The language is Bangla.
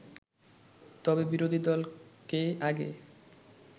তবে বিরোধী দলকে আগে